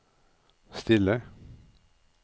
stille